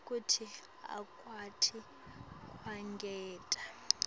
kute akwati kwengeta